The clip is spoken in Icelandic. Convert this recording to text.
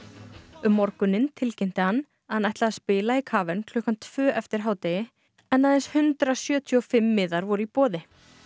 um morguninn tilkynnti hann að hann ætlaði að spila í klukkan tvö eftir hádegi en aðeins hundrað sjötíu og fimm miðar voru í boði